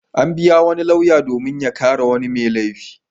An biya wani lauya domin ya kare wani mai laifi.